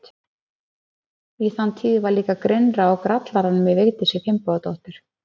Í þann tíð var líka grynnra á grallaranum í Vigdísi Finnbogadóttur.